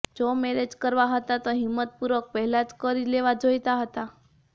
જો મેરેજ કરવા હતા તો હિંમતપૂર્વક પહેલાં જ કરી લેવા જોઈતા હતા